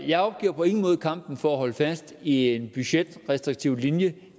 jeg opgiver på ingen måde kampen for at holde fast i en budgetrestriktiv linje